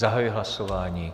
Zahajuji hlasování.